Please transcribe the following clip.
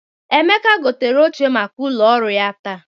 Emeka gotere oche maka ụlọ ọrụ ya taa.